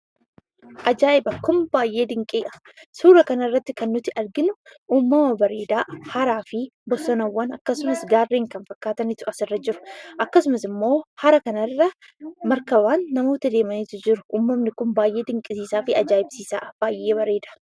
Ajaa'iba! Kun baayyee dinqiidha. Suura kanarratti kan nuti arginu, uummama bareedaa, haraafi bosonaawwan akkasumas gaarreen kan fakkaatanitu asirra jiru. Akkasumasimmoo hara kanarra markabaan namoota deemanitu jiru. Uummanni kun baayyee dinqisiifi ajaa'ibsiisaa'a. Baayyee bareeda.